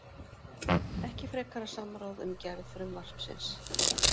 Ekki frekara samráð um gerð frumvarpsins